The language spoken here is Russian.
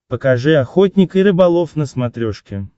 покажи охотник и рыболов на смотрешке